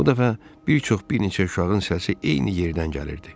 Bu dəfə bir çox bir neçə uşağın səsi eyni yerdən gəlirdi.